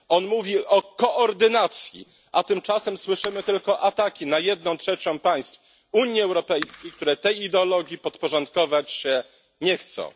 On mówi o koordynacji, a tymczasem słyszymy tylko ataki na jedną trzecią państw Unii Europejskiej, które tej ideologii podporządkować się nie chcą.